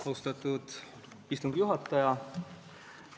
Austatud istungi juhataja!